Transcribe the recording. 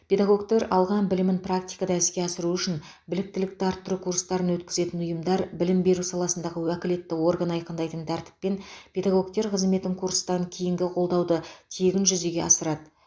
педагогтер алған білімін практикада іске асыруы үшін біліктілікті арттыру курстарын өткізетін ұйымдар білім беру саласындағы уәкілетті орган айқындайтын тәртіппен педагогтер қызметін курстан кейінгі қолдауды тегін жүзеге асырады